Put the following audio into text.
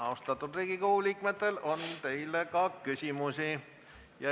Austatud Riigikogu liikmetel on teile ka küsimusi.